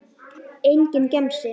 Enginn gemsi.